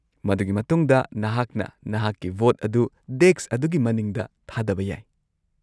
-ꯃꯗꯨꯒꯤ ꯃꯇꯨꯡꯗ, ꯅꯍꯥꯛꯅ ꯅꯍꯥꯛꯀꯤ ꯚꯣꯠ ꯑꯗꯨ ꯗꯦꯁꯛ ꯑꯗꯨꯒꯤ ꯃꯅꯤꯡꯗ ꯊꯥꯗꯕ ꯌꯥꯏ ꯫